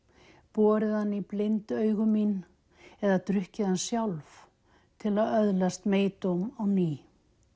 borið hann í blind augu mín eða drukkið hann sjálf til að öðlast á ný